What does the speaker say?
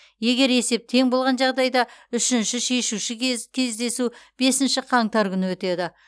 егер есеп тең болған жағдайда үшінші шешуші кездесу бесінші қаңтар күні өтеді